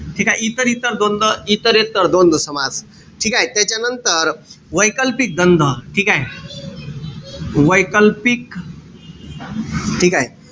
ठीकेय? इतर-इतर द्वंद्व, इतरेत्तर द्वंद्व समास. ठीकेय? त्याच्यानंतर वैकल्पिक द्वंद्व ठीकेय? वैकल्पिक ठीकेय?